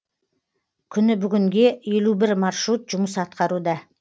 күні бүгінге елу бір маршрут жұмыс атқаруда